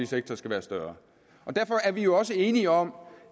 sektor skal være større og derfor er vi jo også enige om